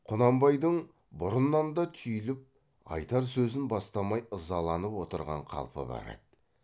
құнанбайдың бұрыннан да түйіліп айтар сөзін бастамай ызаланып отырған қалпы бар еді